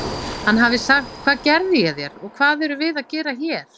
Hann hafi sagt: Hvað gerði ég þér og hvað erum við að gera hér?